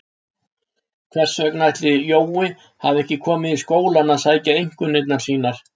Hvers vegna ætli Jói hafi ekki komið í skólann að sækja einkunnirnar sínar?